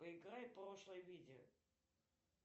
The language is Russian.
проиграй прошлое видео